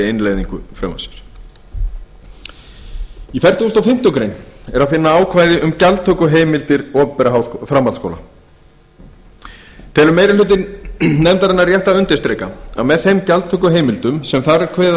innleiðingu frumvarpsins í fertugustu og fimmtu grein er að finna ákvæði um gjaldtökuheimildir opinberra framhaldsskóla telur meiri hluti nefndarinnar rétt að undirstrika að með þeim gjaldtökuheimildum sem þar er kveðið